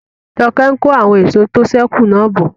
Joke n kó àwọn èso tó sẹ́ kù náà bọ̀